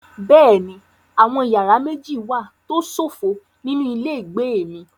Bẹ́ẹ̀ni, àwọn yàrá méjì wà tó ṣófo nínú ilé ìgbé mi.